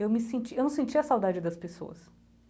Eu me senti, eu não sentia saudade das pessoas.